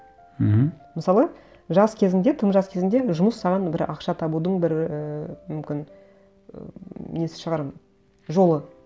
мхм мысалы жас кезіңде тым жас кезіңде жұмыс саған бір ақша табудың бір ііі мүмкін ммм несі шығар жолы